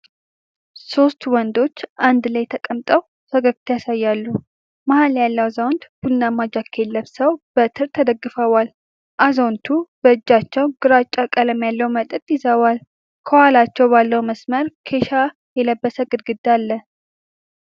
ሦስት ወንዶች አንድ ላይ ተቀምጠው ፈገግታ ያሳያሉ። መሃል ያለው አዛውንት ቡናማ ጃኬት ለብሰው በትር ተደግፈዋል። አዛውንቱ በእጃቸው ግራጫ ቀለም ያለው መጠጥ ይዘዋል። ከኋላቸው ባለ መስመር ኬሻ የለበሰ ግድግዳ አለ።